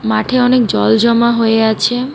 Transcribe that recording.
মাঠে অনেক জল জমা হয়ে আছে।